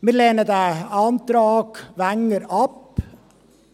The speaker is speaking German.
Wir lehnen den Antrag Wenger ab,